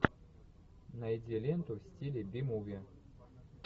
найди ленту в стиле би муви